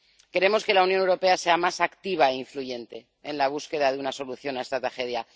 Queremos que la Unión Europea sea más activa e influyente en la búsqueda de una solución a esta tragedia.